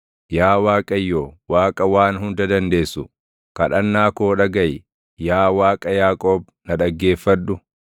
Yaa Waaqayyo, Waaqa Waan Hunda Dandeessu, // kadhannaa koo dhagaʼi; yaa Waaqa Yaaqoob na dhaggeeffadhu.